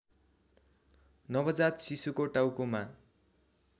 नवजात शिशुको टाउकोमा